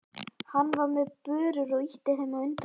Hann var með börur og ýtti þeim á undan sér.